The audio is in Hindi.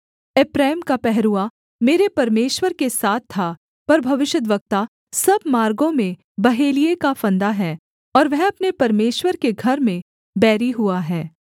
एप्रैम का पहरुआ मेरे परमेश्वर के साथ था पर भविष्यद्वक्ता सब मार्गों में बहेलिये का फंदा है और वह अपने परमेश्वर के घर में बैरी हुआ है